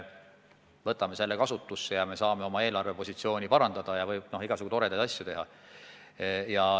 Võtame selle kasutusse ja me saame oma eelarvepositsiooni parandada ja noh, igasugu toredaid asju teha.